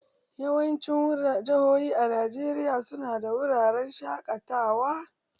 Yawancin jihohi a Najeriya su na da wuraren shaƙatawa.